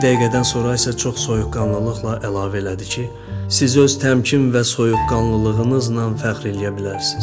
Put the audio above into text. Bir dəqiqədən sonra isə çox soyuqqanlılıqla əlavə elədi ki, "Siz öz təmkin və soyuqqanlılığınızla fəxr eləyə bilərsiz."